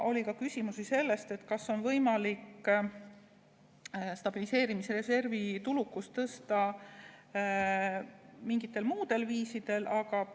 Oli ka küsimusi selle kohta, kas on võimalik stabiliseerimisreservi tulukust tõsta mingitel muudel viisidel.